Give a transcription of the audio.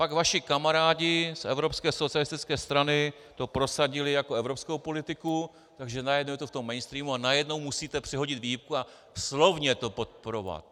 Pak vaši kamarádi z evropské socialistické strany to prosadili jako evropskou politiku, takže najednou je to v tom mainstreamu a najednou musíte přehodit výhybku a slovně to podporovat.